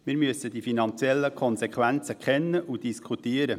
Wir müssen die finanziellen Konsequenzen kennen und diskutieren.